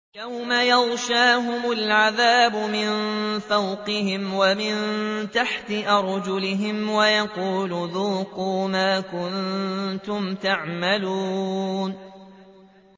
يَوْمَ يَغْشَاهُمُ الْعَذَابُ مِن فَوْقِهِمْ وَمِن تَحْتِ أَرْجُلِهِمْ وَيَقُولُ ذُوقُوا مَا كُنتُمْ تَعْمَلُونَ